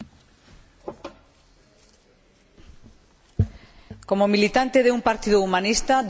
Como militante de un partido humanista, defiendo todos los derechos humanos en todas las circunstancias.